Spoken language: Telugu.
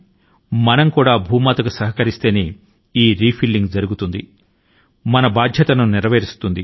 మన మాతృభూమి కి రుణపడి మన బాధ్యతల ను నిర్వర్తిస్తేనే పునఃసమీకరణ సాధ్యమవుతుంది